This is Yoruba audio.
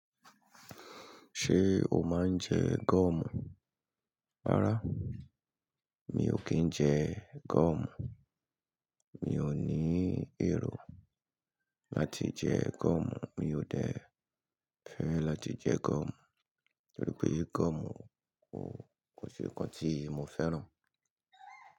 Ṣé o máa ń jẹ goọ̀mù? Rárá mi ò kí ń jẹ goọ̀mù. Mi ò ní èrò láti jẹ gúọ̀mù, mi ò dẹ fẹ́ láti jẹ goọ̀mù, nítorí pé goọ̀mù kò ṣe nǹkan tí mo fẹ́ràn.